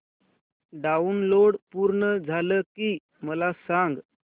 download पूर्ण झालं की मला सांग